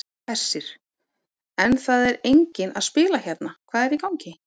Hersir: En það er enginn að spila hérna, hvað er í gangi?